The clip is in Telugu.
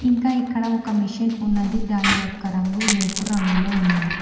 ఇంకా ఇక్కడ ఒక మిషన్ ఉన్నది దాని యొక్క రంగు ఎరుపు రంగులో ఉన్నది.